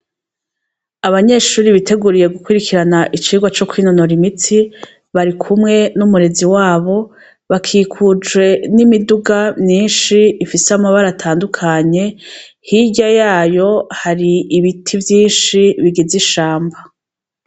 Abanyeshure biteguye gukurikirana icigwa co kwinonora imitsi barikumwe numurezi wabo bikikujwe nimiduga myinshi ifise amabara atandukanye hirya yayo hari ibiti vyinshi bigize ishamba.